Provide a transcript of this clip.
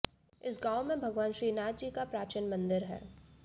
इस गांव में भगवान श्रीनाथजी का प्राचीन मंदिर है